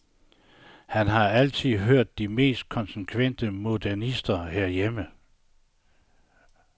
Han har altid hørt til de mest konsekvente modernister herhjemme.